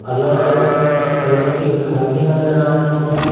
अलग अलग कलर के घर भी नजर आ रहे हैं।